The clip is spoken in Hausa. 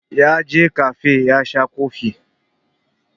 Ya je kafe ya sha kofi.